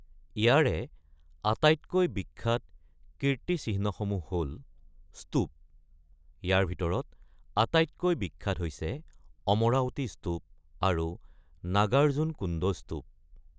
ইয়াৰে আটাইতকৈ বিখ্যাত কীৰ্তিচিহ্নসমূহ হ’ল স্তুপ, ইয়াৰ ভিতৰত আটাইতকৈ বিখ্যাত হৈছে অমৰাৱতী স্তুপ আৰু নাগাৰ্জুনকোণ্ড স্তুপ।